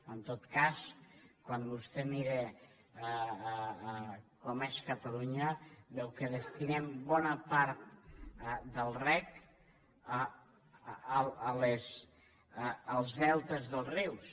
en tot cas quan vostè mira com és catalunya veu que destinem bona part del reg als deltes dels rius